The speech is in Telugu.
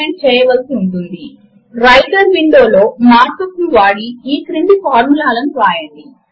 మనము ఇప్పటికే మార్క్ యూపీ లాంగ్వేజ్ కు ఒక అతి తేలికైన ఉదాహరణను చూసి ఉన్నాము